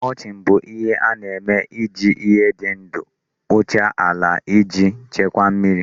Mulching bụ ihe a na-eme iji ihe ndị dị ndụ kpuchie ala iji chekwaa mmiri.